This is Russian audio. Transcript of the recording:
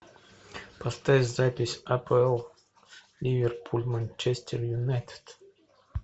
поставь запись апл ливерпуль манчестер юнайтед